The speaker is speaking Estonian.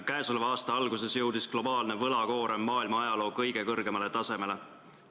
Käesoleva aasta alguses jõudis globaalne võlakoorem maailma ajaloo kõige kõrgemale tasemele.